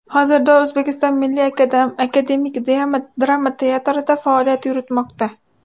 Hozirda O‘zbekiston Milliy akademik drama teatrida faoliyat yuritmoqda.